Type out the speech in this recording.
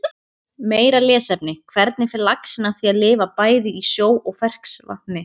Og þegar keppnisdagurinn rann upp höfðum við æft hvert smáatriði og vorum alsælar með árangurinn.